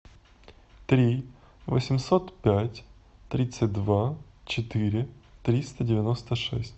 три восемьсот пять тридцать два четыре триста девяносто шесть